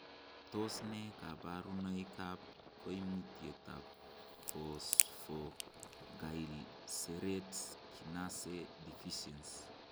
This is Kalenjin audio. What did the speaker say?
Tos nee koborunoikab koimutietab Phosphoglycerate kinase deficiency?